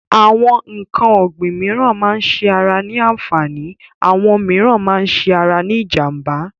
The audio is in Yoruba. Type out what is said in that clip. Àwọn n̄ǹkan ọ̀gbìn mííràn máa ń ṣe ara ní àǹfààní, àwọn mííràn máa ń ṣe ara ní ìjànbá.